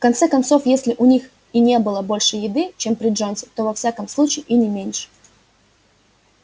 в конце концов если у них и не было больше еды чем при джонсе то во всяком случае и не меньше